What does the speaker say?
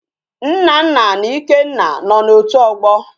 Nnanna na Ikenna no na otu ogbo